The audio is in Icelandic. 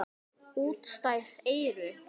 Útstæð eyru.